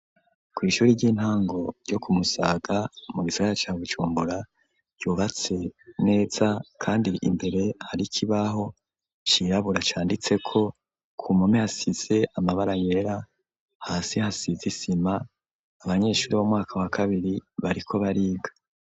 Kw ishuri ry'intango ryo ku Musaga mu riherereye ca Bujumbura yubatse neza kandi imbere hari kibaho cirabura canditse ko ku mpome hasise amabara yera hasi hasize isima abanyeshuri b'umwaka wa kabiri bariko bariga.